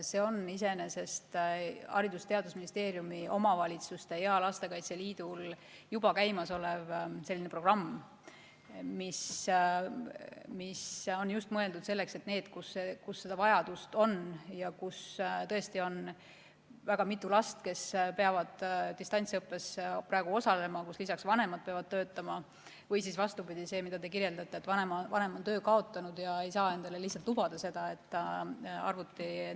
See on iseenesest Haridus- ja Teadusministeeriumi, omavalitsuste ja Eesti Lastekaitse Liidu juba käimasolev programm, mis on mõeldud just selleks, et neid peresid, kus see vajadus on – kus tõesti on mitu last, kes peavad distantsõppes osalema, ja lisaks vanemad peavad töötama või vastupidi, nagu te kirjeldasite, vanem on töö kaotanud ja ei saa endale lihtsalt lubada arvuti ostmist.